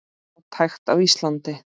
Fátækt á Íslandi